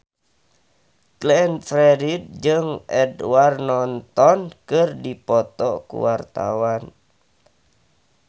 Glenn Fredly jeung Edward Norton keur dipoto ku wartawan